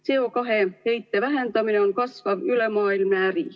CO2 heite vähendamine on kasvav ülemaailmne äri.